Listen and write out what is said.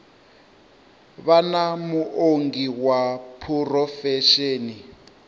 vha na muongi wa phurofesheni